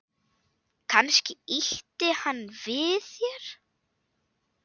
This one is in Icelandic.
Kannski ýtti hann við þér?